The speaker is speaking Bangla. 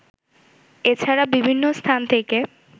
এছাড়া বিভিন্ন স্থান থেকে